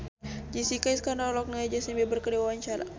Jessica Iskandar olohok ningali Justin Beiber keur diwawancara